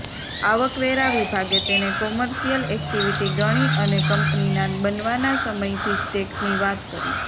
આવકવેરા વિભાગે તેને કોમર્શિયલ એક્ટિવિટી ગણી અને કંપનીના બનવાના સમયથી જ ટેક્સની વાત કરી